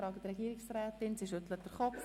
Auch die Regierungsrätin schüttelt den Kopf.